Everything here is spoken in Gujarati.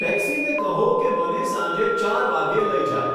ટેક્સીને કહો કે મને સાંજે ચાર વાગ્યે લઇ જાય